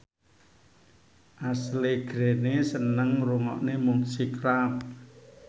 Ashley Greene seneng ngrungokne musik rap